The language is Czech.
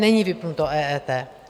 Není vypnuto EET.